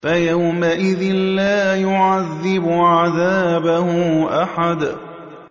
فَيَوْمَئِذٍ لَّا يُعَذِّبُ عَذَابَهُ أَحَدٌ